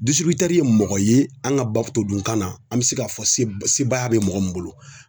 ye mɔgɔ ye an ka b'a fɔ todunkan na an bɛ se k'a fɔ sebaaya bɛ mɔgɔ min bolo